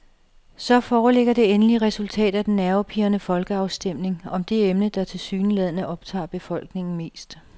Så foreligger endelig resultatet af den nervepirrende folkeafstemning om det emne, der tilsyneladende optager befolkningen mest.